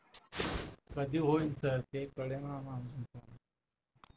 कधी होईल सर ते कळेना आम्हाला